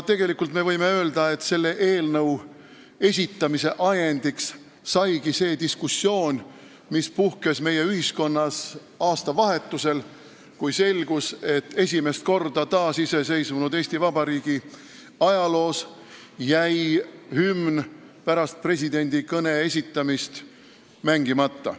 Tegelikult võib öelda, et selle eelnõu esitamise ajendiks saigi see diskussioon, mis puhkes meie ühiskonnas aastavahetusel, kui selgus, et esimest korda taasiseseisvunud Eesti Vabariigi ajaloos jäi hümn pärast presidendi kõnet mängimata.